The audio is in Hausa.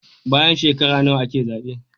Bayan shekara nawa ake zabe